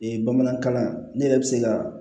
bamanankan ne yɛrɛ bɛ se ka